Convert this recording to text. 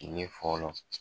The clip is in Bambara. Tiɲɛn fɔlɔ.